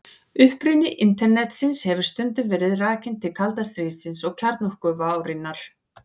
Uppruni Internetsins hefur stundum verið rakinn til kalda stríðsins og kjarnorkuvárinnar.